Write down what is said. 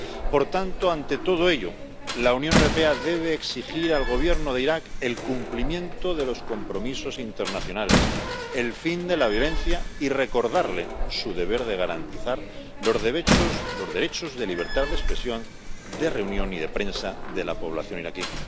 Por tanto, ante todo ello, la Unión Europea debe exigir al Gobierno de Irak el cumplimiento de los compromisos internacionales, el fin de la violencia y recordarle su deber de garantizar los derechos de libertad de expresión, de reunión y de prensa de la población iraquí.